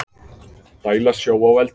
Dæla sjó á eldinn